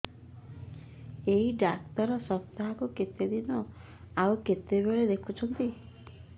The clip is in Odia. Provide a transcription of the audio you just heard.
ଏଇ ଡ଼ାକ୍ତର ସପ୍ତାହକୁ କେତେଦିନ ଆଉ କେତେବେଳେ ଦେଖୁଛନ୍ତି